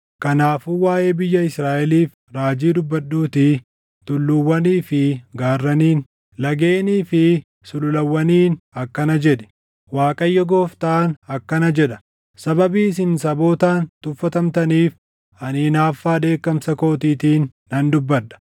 Kanaafuu waaʼee biyya Israaʼeliif raajii dubbadhuutii tulluuwwanii fi gaarraniin, lageenii fi sululawwaniin akkana jedhi; ‘ Waaqayyo Gooftaan akkana jedha: Sababii isin sabootaan tuffatamtaniif, ani hinaaffaa dheekkamsa kootiitiin nan dubbadha.